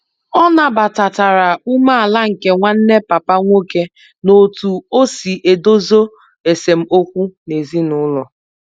O nabatatara umeala nke Nwanne papa nwoke n'otu osi edezo esem okwu n'ezinulo